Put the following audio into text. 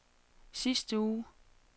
sidste uge